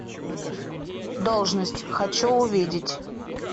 должность хочу увидеть